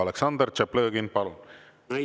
Aleksandr Tšaplõgin, palun!